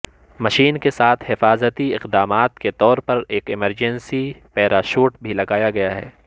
machine کے ساتھ حفاظتی اقدامات کے طور پر ایک ایمرجنسی پیراشوٹ بھی لگایا گیا ہے